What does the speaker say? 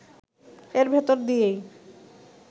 এর ভেতর দিয়েই